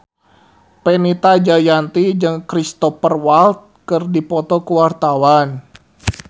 Fenita Jayanti jeung Cristhoper Waltz keur dipoto ku wartawan